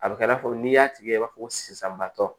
A bɛ kɛ i n'a fɔ n'i y'a tigɛ i b'a fɔ sisan batɔ